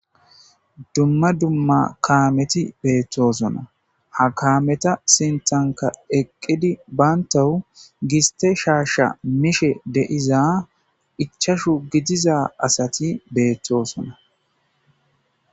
Dumma dumma kaameti beettosonna ha kaameta sintanka eqqidi baantawu giste shaasha mishe deiza ichashu gidiza asati beettoosona.